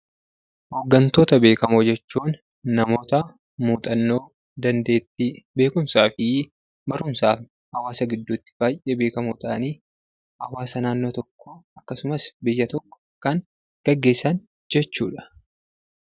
Hooggantoota beekamoo jechuun namoota muuxannoo, dandeettii, beekumsaafi barumsaan hawaasa gidduutti baay'ee beekamoo ta'anii, hawaasa naannoo tokkoo akkasumas biyya tokko kan gaggeessan jechuudha.